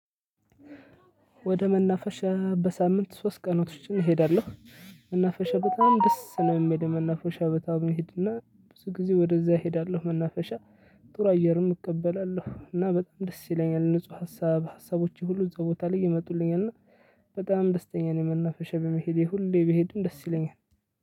ወደ መናፈሻ በሳምንት ሶስት ቀናቶችን እሄዳለሁ። መናፈሻ በጣም ደስ ነው የሚሄደው መናፈሻ ቦታ መሄድና ብዙ ጊዜ ወደዛ እሄዳለሁ መናፈሻ። ጥሩ አየርም እቀበላለሁ እና በጣም ደስ ይለኛል ንጹህ ሀሳብ ሀሳቦች ሁሉ እዛ ቦታ ላይ ይመጡልኛል እና በጣም ደስተኛ ነው። መናፈሻ በመሄዴ ሁሌ ብሄድም ደስ ይለኛል።